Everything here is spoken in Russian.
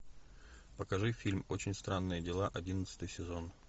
покажи фильм очень странные дела одиннадцатый сезон